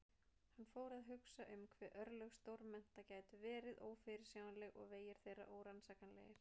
Hann fór að hugsa um hve örlög stórmenna gætu verið ófyrirsjáanleg og vegir þeirra órannsakanlegir.